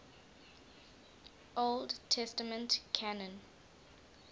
old testament canon